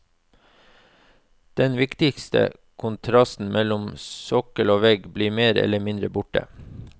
Den viktige kontrasten mellom sokkel og vegg blir mer eller mindre borte.